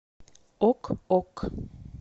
ок ок